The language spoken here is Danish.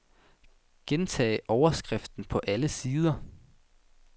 Gentag overskriften på alle sider.